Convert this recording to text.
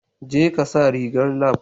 Jeka sa rigar lab